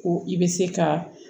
Ko i bɛ se ka